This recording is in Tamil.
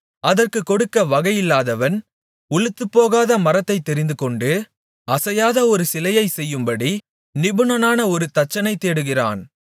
அதற்குக் கொடுக்க வகையில்லாதவன் உளுத்துப்போகாத மரத்தைத் தெரிந்துகொண்டு அசையாத ஒரு சிலையைச் செய்யும்படி நிபுணனான ஒரு தச்சனைத் தேடுகிறான்